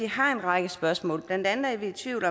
har en række spørgsmål blandt andet er vi i tvivl